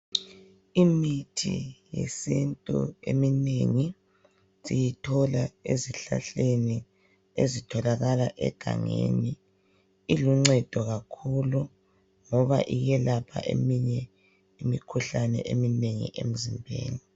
Imithi yesintu eminengi siyithola ezihlahleni ezitholakala egangeni, iluncedo kakhulu ngoba iyelapha eminye imikhuhlane eminengi emzimbeni.